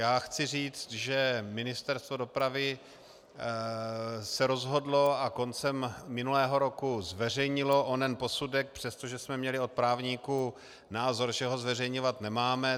Já chci říci, že Ministerstvo dopravy se rozhodlo a koncem minulého roku zveřejnilo onen posudek, přestože jsme měli od právníků názor, že ho zveřejňovat nemáme.